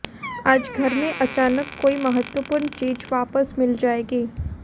आज घर में अचानक कोई महत्वपूर्ण चीज वापस मिल जायेगी